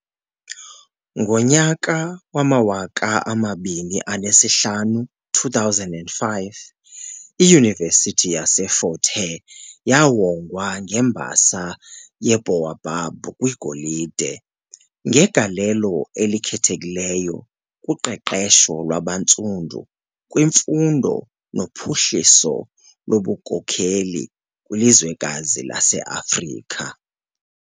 Ngo2005, iYunivesiti yaseFort Hare yawongwa ngeMbasa yeBaobab kwiGolide "ngegalelo elikhethekileyo kuqeqesho lwabaNtsundu kwimfundo nophuhliso lobunkokheli kwilizwekazi laseAfrika."